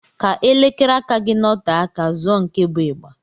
Ka elekere aka gị nọte aka, zụọ nke bụ ịgba.